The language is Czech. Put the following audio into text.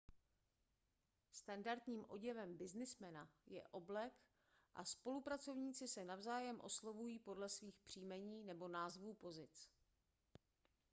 standardním oděvem byznysmena je oblek a spolupracovníci se navzájem oslovují podle svých příjmení nebo názvů pozic